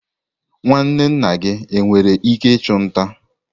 nwanne nna gị nwere ike ịchụ nta?